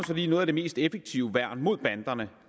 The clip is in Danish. fordi noget af det mest effektive værn mod banderne